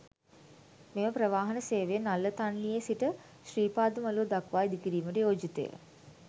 මෙම ප්‍රවාහන සේවය නල්ලතන්නියේ සිට ශ්‍රීපාද මළුව දක්වා ඉදිකිරීමට යෝජිතය.